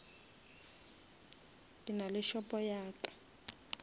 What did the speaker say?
ke nale shopo ya ka